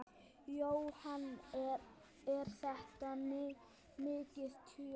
Jóhann: Er þetta mikið tjón?